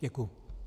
Děkuji.